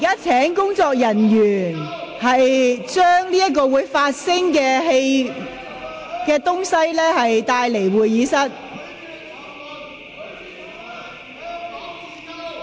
請工作人員將發聲裝置帶離會議廳。